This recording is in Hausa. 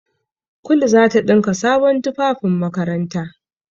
Kulu za ta ɗinka sabon tufafin makaranta.